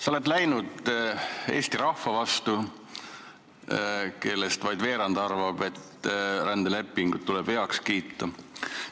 Sa oled läinud Eesti rahva vastu, kellest vaid veerand arvab, et rändeleping tuleb heaks kiita.